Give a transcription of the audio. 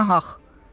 Lap na haqq.